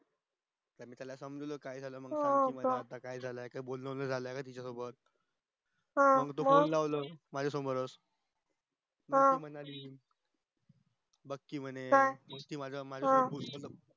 आता त्याला समजावलं काय झालाय म्हणून काय झालंय काय बोलणं वैगेरे झालं का तिच्या सोबत हम्म मग त्यानी त लावलं माझ्या समोर च हम्म मग ती म्हणे